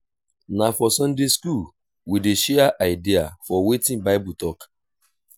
na for sunday school we dey share idea for wetin bible tok.